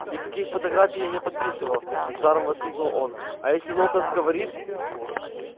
никаких фотографий я не подписывал с жаром воскликнул он а если локонс говорит